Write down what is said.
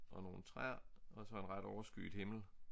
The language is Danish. Og nogle træer og så en ret overskyet himmel